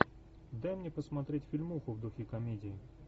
дай мне посмотреть фильмуху в духе комедии